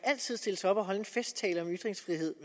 stille sig op og holde en festtale om ytringsfrihed